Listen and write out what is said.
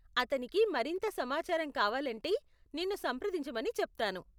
అతనికి మరింత సమాచారం కావాలంటే నిన్ను సంప్రదించమని చెప్తాను.